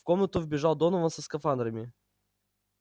в комнату вбежал донован со скафандрами